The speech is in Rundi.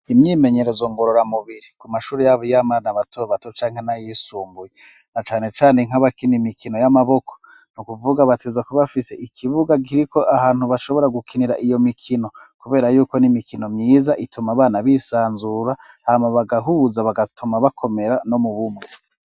Imyimenyerezo ngororamubiri ku mashure yaba iy'abana bato bato canke n'ayisumbuye, na cane cane nk'abakina imikino y'amaboko, ni kuvuga bategerezwa kuba afise ikibuga kiriko ahantu bashobora gukinira iyo mikino, kubera yuko n'imikino myiza ituma abana bisanzura, hanyuma bagahuza bagatuma bakomera no mu bumwe.